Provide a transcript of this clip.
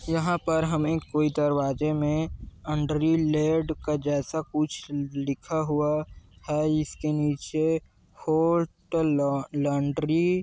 यहाँ पर हमें कोई दरवाजे में अन्डरी लेड का जैसा कुछ लिखा हुआ है इसके नीचे होट लौंडरी --